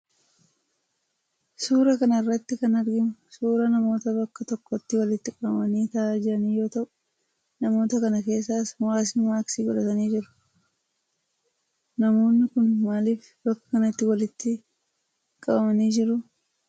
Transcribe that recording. Suuraa kana irratti kan arginu suuraa namoota bakka tokkotti walitti qabamanii taa'aa jiran yoo ta'u, namoota kana keessaas muraasni maaskii godhatanii jiru. Namoonni kun maaliif bakka kanatti walitti qabamanii jiru?